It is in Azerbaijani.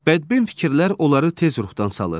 Bədbin fikirlər onları tez ruhdan salır.